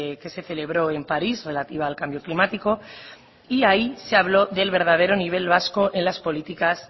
que se celebró en parís relativa al cambio climático y ahí se habló del verdadero nivel vasco en las políticas